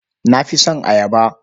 Na fi son ayaba.